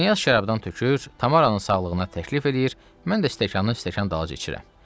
Knyaz şərabdan tökür, Tamaranın sağlığına təklif eləyir, mən də stəkanı stəkan dalınca içirəm.